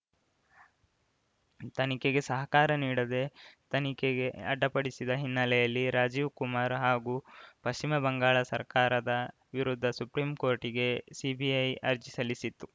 ತನಿಖೆಗೆ ಸಹಕಾರ ನೀಡದೇ ತನಿಖೆಗೆ ಅಡ್ಡಪಡಿಸಿದ ಹಿನ್ನೆಲೆಯಲ್ಲಿ ರಾಜೀವ್‌ ಕುಮಾರ್‌ ಹಾಗೂ ಪಶ್ಚಿಮ ಬಂಗಾಳ ಸರ್ಕಾರದ ವಿರುದ್ಧ ಸುಪ್ರೀಂಕೋರ್ಟಿಗೆ ಸಿಬಿಐ ಅರ್ಜಿ ಸಲ್ಲಿಸಿತ್ತು